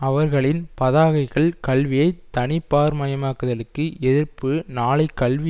அவர்களின் பதாகைகள் கல்வியை தனிபார்மயமாக்குதலுக்கு எதிர்ப்பு நாளை கல்வி